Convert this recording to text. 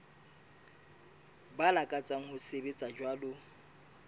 ba lakatsang ho sebetsa jwalo